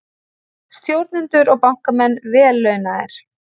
Stjórnendur og bankamenn vel launaðir